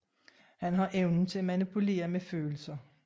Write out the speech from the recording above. Han har evnen til at manipulere med følelser